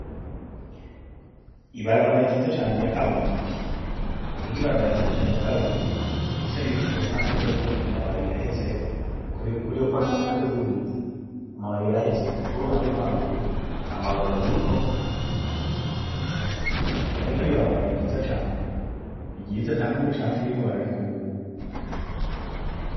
Ibarabara ryiza cane rya kaburimbi rifise n’ibiti kuruhande n’ubwoko amababi yahezeko kuruhande rw’iburyo amababi yarahezeko, kuruhande rwo haruguru amababi ariko hariko n’ibarabara ryiza cane nta n’umucagu urimwo bararikubura.